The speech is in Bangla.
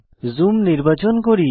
জুম নির্বাচন করি